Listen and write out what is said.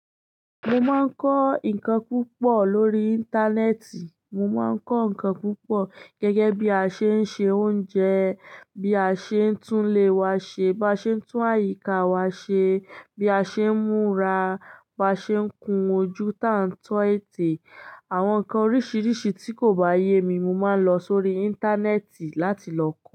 Mo máa ń kọ́ nǹkan púpọ̀ lórí Íńtánẹ́ẹ̀tì. Mo máa ń kọ́ nǹkan púpọ̀ gẹ́gẹ́ bí a ṣe ń se oúnjẹ, bí a ṣe ń tún ilé wa ṣe, bá ṣe ń tún àyíká wa ṣe, bí a ṣe ń múra, bá ṣe ń kun ojú tán tó ète. Àwọn nǹkan oríṣiríṣi tí kò bá yé mi, mo máa lọ sórí Íńtánẹ́ẹ̀tì láti lọ.